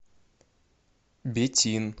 бетин